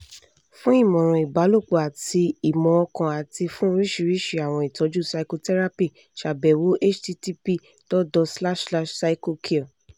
fun imọran ibalopọ ati imọ-ọkan ati fun oriṣiriṣi awọn itọju psychotherapy ṣabẹwo: http://psychocure